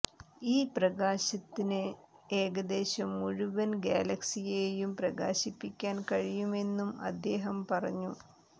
ഈ പ്രകാശത്തിന് ഏകദേശം മുഴുവൻ ഗാലക്സിയേയും പ്രകാശിപ്പിക്കാൻ കഴിയുമെന്നും അദ്ദേഹം പറഞ്ഞു